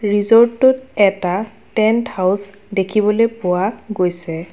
ৰীজৰ্টোত এটা tent house দেখিবলৈ পোৱা গৈছে।